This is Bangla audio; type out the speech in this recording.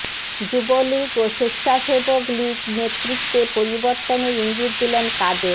যুবলীগ ও স্বেচ্ছাসেবক লীগ নেতৃত্বে পরিবর্তনের ইঙ্গিত দিলেন কাদের